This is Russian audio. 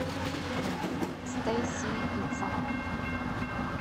стэйси пицца